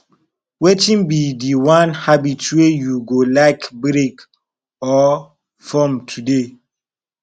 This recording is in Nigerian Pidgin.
wetin be di one habit wey you go like break or form today